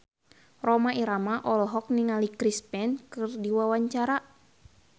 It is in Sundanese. Rhoma Irama olohok ningali Chris Pane keur diwawancara